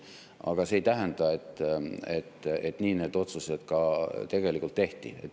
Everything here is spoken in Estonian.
Aga see ei tähenda, et nii need otsused ka tegelikult tehti.